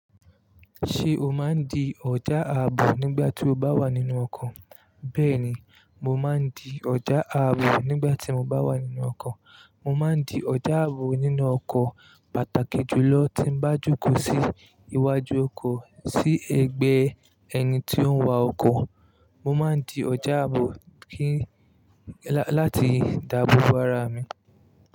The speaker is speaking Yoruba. Ṣé o máa ń di ọ̀ja ààbò nígbà tí o bá wà nínú ọkọ̀? Bẹ́ẹ̀ ni, mo máa ń di ọ̀ja ààbò nígbà tí mo bá wà nínú ọkọ̀. Mo máa ń di ọ̀dà ààbò nínú ọkọ̀ pàtàkì jùlọ tí ń bá jókòó sí iwájú ọkọ̀ sí ẹgbẹ́ ẹni tí ó ń wa ọkọ̀. Mo máa ń di ọ̀jà ààbò kí, láti dáàbò bo ara mi.